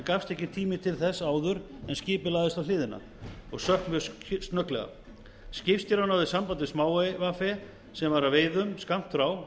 ekki gafst tími til þess áður þar sem skipið lagðist á hliðina og sökk mjög snögglega skipstjóri náði sambandi við smáey ve sem var að veiðum skammt frá